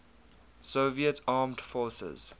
soviet armed forces